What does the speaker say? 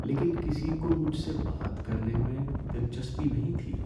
لیکن کسی کو مجھ سے بات کرنے میں دلچسپی نہیں تھی۔